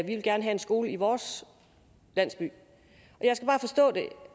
en skole i vores landsby